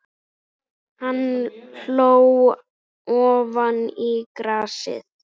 Hann hló ofan í grasið.